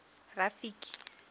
rafiki